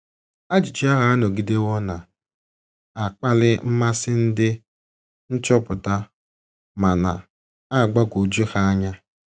Ajụjụ ahụ anọgidewo na - akpali mmasị ndị nchọpụta ma na - agbagwoju ha anya.